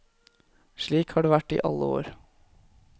Slik har det vært i alle år.